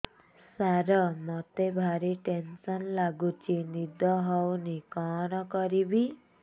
ସାର ମତେ ଭାରି ଟେନ୍ସନ୍ ଲାଗୁଚି ନିଦ ହଉନି କଣ କରିବି